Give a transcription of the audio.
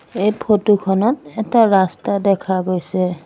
এই ফটো খনত এটা ৰাস্তা দেখা গৈছে।